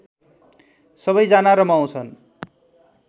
सबैजना रमाउँछन्